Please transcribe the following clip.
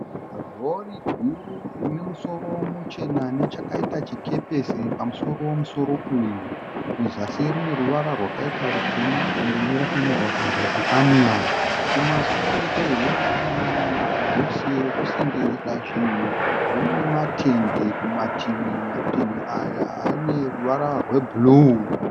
Rori guru rinemusoro muchena nechakaita chikepesi. Pamusoro wemusoro uyu. Muzasi rune ruvara rwakaita rutema. Kumberi rakanyorwa kunzi Scania. Kumasure kwe Rori iyi kubhokisi rekusengesa zvinhu rine matende kumativi, matende aya ane ruvara rwe bhuruu.